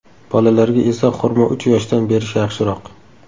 Bolalarga esa xurmo uch yoshdan berish yaxshiroq.